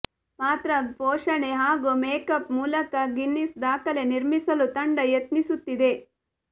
ಪಾತ್ರ ಪೋಷಣೆ ಹಾಗೂ ಮೇಕಪ್ ಮೂಲಕ ಗಿನ್ನೆಸ್ ದಾಖಲೆ ನಿರ್ಮಿಸಲು ತಂಡ ಯತ್ನಿಸುತ್ತಿದೆ